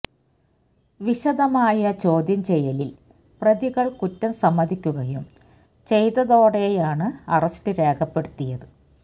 വിശദമായ ചോദ്യം ചെയ്യലില് പ്രതികള് കുറ്റം സമ്മതിക്കുകയും ചെയ്തതോടെയാണ് അറസ്റ്റ് രേഖപ്പെടുത്തിയത്